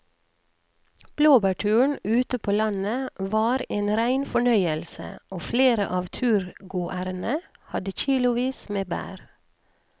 Blåbærturen ute på landet var en rein fornøyelse og flere av turgåerene hadde kilosvis med bær.